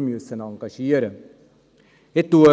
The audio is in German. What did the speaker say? wir uns engagieren müssen.